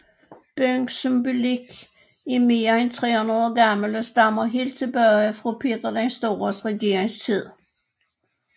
Byens symbolik er mere end 300 år gammel og stammer helt tilbage fra Peter den Stores regeringstid